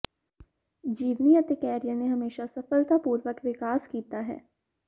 ਜੀਵਨੀ ਅਤੇ ਕੈਰੀਅਰ ਨੇ ਹਮੇਸ਼ਾ ਸਫਲਤਾਪੂਰਵਕ ਵਿਕਾਸ ਕੀਤਾ ਹੈ